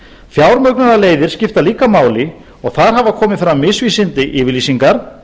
fjármögnunarleiðir skipta líka máli og þar hafa komið fram misvísandi yfirlýsingar